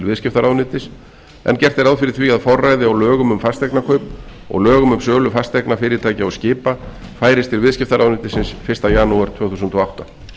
viðskiptaráðuneytis en gert er ráð fyrir því að forræði á lögum um fasteignakaup og lögum um sölu fasteigna fyrirtækja og skipa færist til viðskiptaráðuneytisins fyrsta janúar tvö þúsund og átta